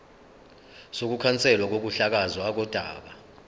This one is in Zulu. sokukhanselwa kokuhlakazwa kodaba